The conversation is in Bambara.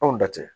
Anw da tɛ